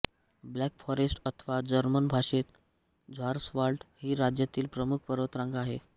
black Forest अथवा German भाषेत Schwarzwald ही राज्यातील प्रमुख पर्वतरांग आहे